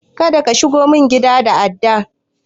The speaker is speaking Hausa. Kada ka shigo min gida da adda!